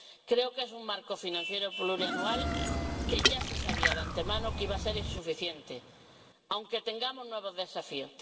Creo que es un marco financiero plurianual que ya se sabía de antemano que iba a ser insuficiente, aunque tengamos nuevos desafíos.